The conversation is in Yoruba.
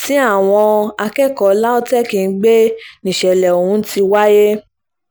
tí àwọn akẹ́kọ̀ọ́ lautech ń gbé níṣẹ̀lẹ̀ ọ̀hún ti wáyé